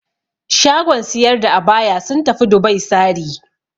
Shagon siyar da abaya sun tafi Dubai sari.